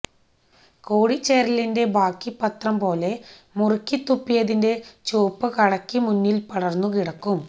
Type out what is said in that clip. കൂടിച്ചേരലിന്റെ ബാക്കിപത്രം പോലെ മുറുക്കി തുപ്പിയതിന്റെ ചുവപ്പ് കടയക്ക് മുന്നില് പടര്ന്നു കിടക്കും